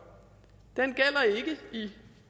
den gælder ikke i